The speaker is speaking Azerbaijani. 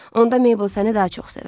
Onda Mabel səni daha çox sevər.